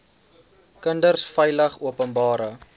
kinders veilig openbare